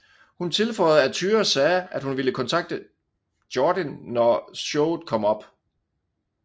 Hun tilføjede at Tyra sagde at hun ville kontakte Jordin når showet kom op